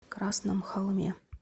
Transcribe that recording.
красном холме